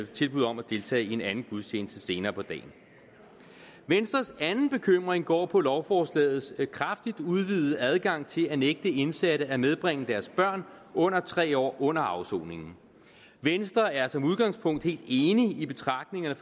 tilbud om at deltage i en anden gudstjeneste senere på dagen venstres anden bekymring går på lovforslagets kraftigt udvidede adgang til at kunne nægte indsatte at medbringe deres børn under tre år under afsoningen venstre er som udgangspunkt helt enig i de betragtninger